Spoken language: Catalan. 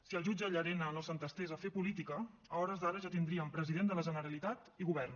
si el jutge llarena no s’entestés a fer política a hores d’ara ja tindríem president de la generalitat i govern